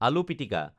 আলু পিটিকা